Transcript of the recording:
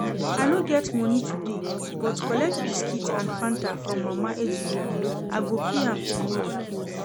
I no get money today but collect biscuit and fanta from Mama Ejiro I go pay am tomorrow